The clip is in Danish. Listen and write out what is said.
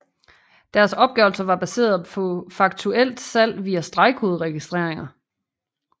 Deres opgørelser var baseret på faktuelt salg via stregkoderegistreringer